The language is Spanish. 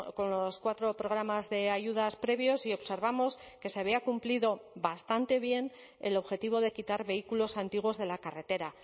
con los cuatro programas de ayudas previos y observamos que se había cumplido bastante bien el objetivo de quitar vehículos antiguos de la carretera